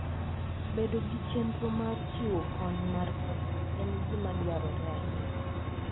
Bedo gi chenro mar chiwo kony mar pesa en gima dwarore ahinya.